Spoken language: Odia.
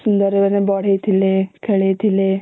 କେତେ ସୁନ୍ଦର ମାନେ ବଢ଼େଇଥିଲେ ଖେଳେଇଥିଲେ